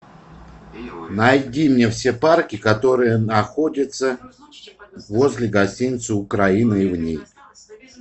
найди мне все парки которые находятся возле гостиницы украина и в ней